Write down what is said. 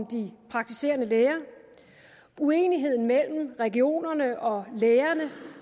de praktiserende læger uenigheden mellem regionerne og lægerne